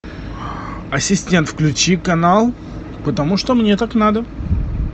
ассистент включи канал потому что мне так надо